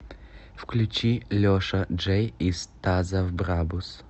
включи леша джей из таза в брабус